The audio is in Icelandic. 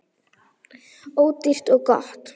Ódýrt og gott.